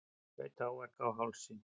Hlaut áverka á hálsi